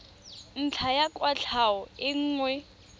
ntlha ya kwatlhao e nngwe